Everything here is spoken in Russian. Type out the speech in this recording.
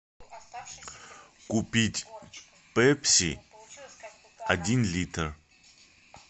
купить пепси один литр